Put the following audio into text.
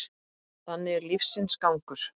Þannig er lífsins gangur.